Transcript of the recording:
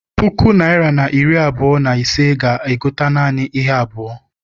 Puku naịra na iri abụọ na ise ga- egote naanị ihe abụọ.